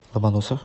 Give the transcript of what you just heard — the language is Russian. ломоносов